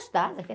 filha.